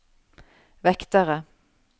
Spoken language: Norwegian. vektere